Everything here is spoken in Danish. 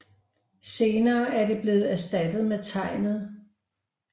Senere er det blevet erstattet med tegnet 壯